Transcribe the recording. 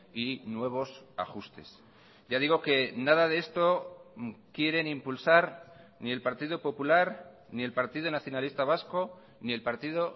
y nuevos ajustes ya digo que nada de esto quieren impulsar ni el partido popular ni el partido nacionalista vasco ni el partido